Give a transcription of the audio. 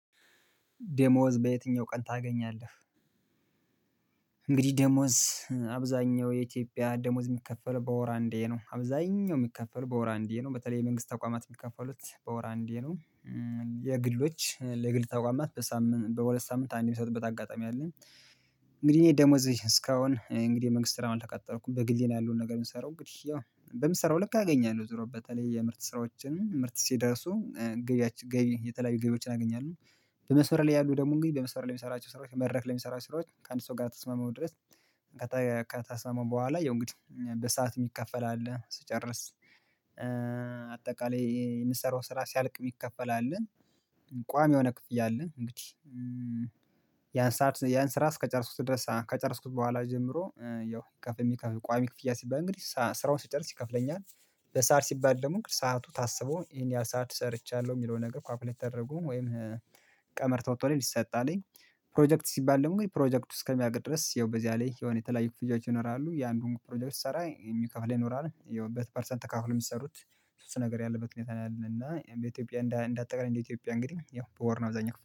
ዴሞወዝ በየትኛው ቀን ታገኛለህ? እንግዲህ ደሞወዝ አብዛኛው የኢትዮጵያ ደሞዝ የሚከፈለው በወር አንዴ ነው አብዛኛው የሚከፈለው በወር አንዴ ነው በተለይ የመንግስት ተቋማት የሚከፈሉት በወር አንዴ ነው። እም የግሎች እ እ ለግል ተቋማት በሳምንት በሁለት ሳምንት አንድ የሚሰጥበት አጋጣሚ አለኝ። እንግዲህ እኔ ደሞዜ እስካሁን እንግዲህ የመንግስት ስራ አልተቀጠርኩም በግሌ ነው ያለውን ነገር የምሰራው እንግዲህ ያው በምሰራው ልክ አገኛለሁ ዞሮ በተለይ የምርት ስራዎችን ምርት ሲደርሱ እእ ገቢያችን ገቢ የተለያዩ ገቢዎችን አገኛለሁ። በመስመር ላይ ያሉ ደግሞ እንግዲህ በመስመር ላይ የሚሰራቸው ስራዎች መረክ ላይ የሚሰራቸው ስራዎች ከአንድ ሰው ጋር ከተስማማው ድረስ። ቀጣይ ከተስማምማው በኋላ ያው እንግዲህ በሰአት የሚከፈል አለ ስጨርስ እእ አጠቃላይ የምትሰራው ስራ ሲያልቅ ሚከፈል አለን። ቋሚ የሆነ ክፍያ አለን። እንግዲህ እም ያን ሰዓት ያን ስራ እስከጨረስኩት ድረስ ከጨረስኩት በኋላ ጀምሮ እእ ያው ከፍ የሚከፍል ቋሚ ክፍያ ሲባል እንግዲህ ስራውን ሲጨርስ ይከፍለኛል። በሰአት ሲባል ደም ሰዓቱ ታስቦ ይሄን ያህል ሰዓት ሰርቻለሁ የሚለውን ነገር እ ኳልኩሌት ተደርጎ ወይም ቀመር ተወጥቶለት ይሰጣአለኝ። ፕሮጀክት ሲባል ደግሞ ፕሮጀክቱ እስከሚያልቅ ድረስ ይኸው በዚያ ላይ የሆነ የተለያዩ ክፍያዎች ይኖራሉ የአንዱን ፕሮጀክቶች ስሰራ የሚከፍል ይኖራል ይኸው ፐርሰንት ተካፍሎ የሚሰሩት ሶስት ነገር ያለበት ሁኔታ ነው። ያለን እና በኢትዮጵያ እንዳጠቃላይ እንደ ኢትዮጵያ እንግዲህ ያው በወር ነው አብዛኛው